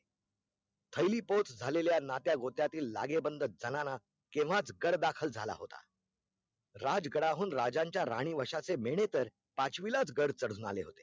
थैली पोच झालेल्या नात्यागोत्यातील लागेबंध जणांना केव्हाच गाढ दाखल झाला होता राज गडाहून राजाच्या राणी वशाचे मेणे तर पाचवीलाच गढ चढून आले होते